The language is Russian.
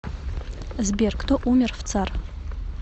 сбер кто умер в цар